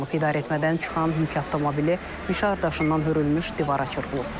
İdarəetmədən çıxan yük avtomobili mişar daşından hürülmüş divara çırpılıb.